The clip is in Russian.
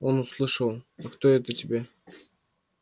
он услышал а кто это тебе